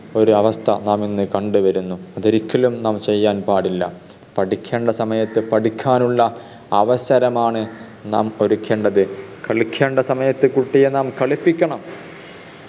ഒരു അവസ്ഥ നാം ഇന്ന് കണ്ടുവരുന്നു അത് ഒരിക്കലും നാം ചെയ്യാൻ പാടില്ല പഠിക്കേണ്ട സമയത്ത് പഠിക്കാനുള്ള അവസരമാണ് നാം ഒരുക്കേണ്ടത് കളിക്കേണ്ട സമയത്ത് കുട്ടിയെ നാം കളിപ്പിക്കണം